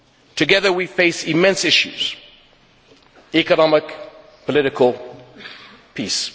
Together we face immense issues economic, political, peace.